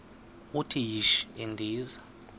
uthi yishi endiza